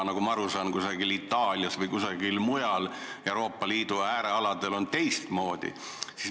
Nagu ma aru saan, näiteks Itaalias või kusagil Euroopa Liidu äärealadel on teistmoodi.